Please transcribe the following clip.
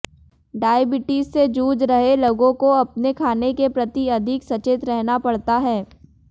diabetes से जूझ रहे लोगों को अपने खाने के प्रति अधिक सचेत रहना पड़ता है